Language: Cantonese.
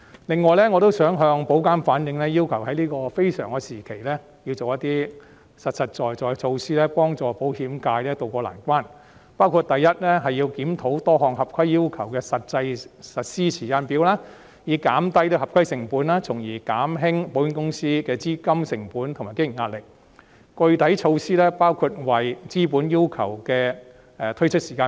另外，我也想要求保監局在這非常時期採取一些實在的措施，協助保險界渡過難關，包括：第一，檢討多項合規要求的實施時間表，以減低合規成本，從而減輕保險公司的資金成本和經營壓力，具體措施包括重新檢討落實資本要求的時間表。